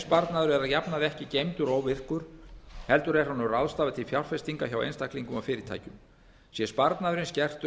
sparnaður er að jafnaði ekki geymdur óvirkur heldur er honum ráðstafað til fjárfestinga hjá einstaklingum og fyrirtækjum sé sparnaðurinn skertur